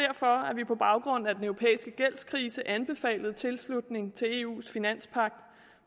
at vi på baggrund af den europæiske gældskrise anbefalede tilslutning til eus finanspagt